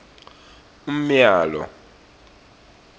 umyalo